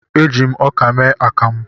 E ji m ọkà mee akamụ